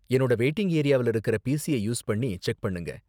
என்னோட வெயிட்டிங் ஏரியாவுல இருக்குற பிசிய யூஸ் பண்ணி செக் பண்ணுங்க.